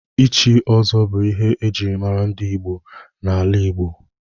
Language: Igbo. Ịchị ọzọ bụ ihe ejiri mara ndị gboo na-ala Igbo.